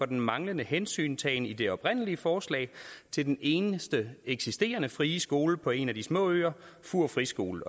den manglende hensyntagen i det oprindelige forslag til den eneste eksisterende frie skole på en af de små øer fur friskole